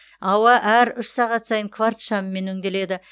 ауа әр үш сағат сайын кварц шамымен өңделеді